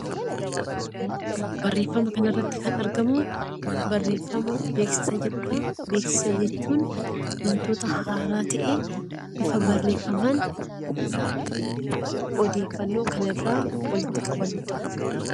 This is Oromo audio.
Barreeffama kanarratti kan argamu barreeffama 'beeksisa' jedhuu dha. Beeksisa jechuun wantoota haaraa ta'e bifa barreeffamaan odeeffannoo kan irraa walitti qabannuu dha.